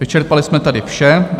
Vyčerpali jsme tedy vše.